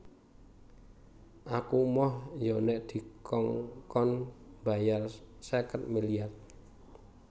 Aku emoh yo nek dikongkon mbayar seket miliar